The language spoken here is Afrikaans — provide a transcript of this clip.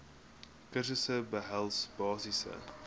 kursusse behels basiese